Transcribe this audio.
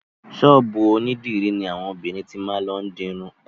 Ṣọ́ọ̀bù onídìrí ní àwọn obìnrin ti máa lọ dirun.